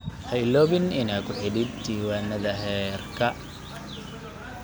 Ha iloobin inaad ku xidhid diiwaanada heerka